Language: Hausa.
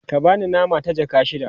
ka bani nama ta jaka shida